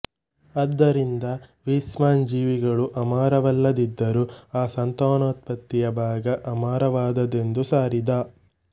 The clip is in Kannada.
ಆದ್ದರಿಂದ ವೀಸ್ಮನ್ ಜೀವಿಗಳು ಅಮರವಲ್ಲದಿದ್ದರೂ ಆ ಸಂತಾನೋತ್ಪತ್ತಿಯ ಭಾಗ ಅಮರವಾದದ್ದೆಂದು ಸಾರಿದ